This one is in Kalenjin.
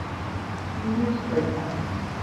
Nyigis koita